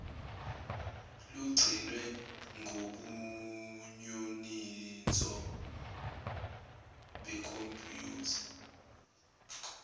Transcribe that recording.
lugcinwe ngobunyoninso bekhompuyutha